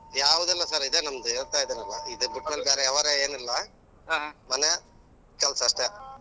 ಯಾವುದೂ ಇಲ್ಲಾ sir ಇದೆ ನಮ್ಮದು ಅದೇ ಹೇಳ್ತಿದ್ದೇನೆ ಅಲ್ಲಾ ಇದು ಬಿಟ್ಟು ಬೇರೆ ವ್ಯವಹಾರ ಎನಿಲ್ಲಾ ಮನೆಯಾ ಕೆಲ್ಸ ಅಷ್ಟೆ.